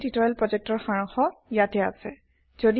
spoken tutorial প্ৰকল্পৰ সাৰাংশ ইয়াতে আছে